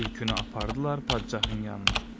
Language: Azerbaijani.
Tülkünü apardılar padşahın yanına.